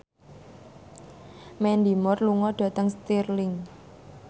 Mandy Moore lunga dhateng Stirling